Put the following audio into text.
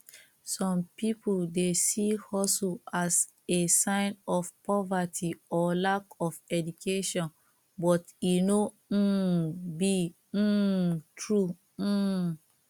some people dey see hustle as a sign of poverty or lack of education but e no um be um true um